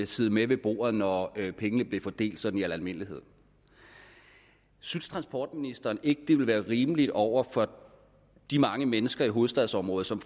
sidde med ved bordet når pengene blev fordelt sådan i almindelighed synes transportministeren ikke at det ville være rimeligt over for de mange mennesker i hovedstadsområdet som